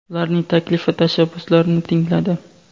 ularning taklif va tashabbuslarini tingladi.